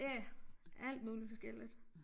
Ja alt muligt forskelligt